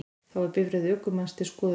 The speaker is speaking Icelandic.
Þá er bifreið ökumanns til skoðunar